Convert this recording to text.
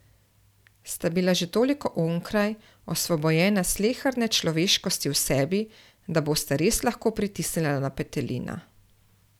Sta bila že toliko onkraj, osvobojena sleherne človeškosti v sebi, da bosta res lahko pritisnila na petelina?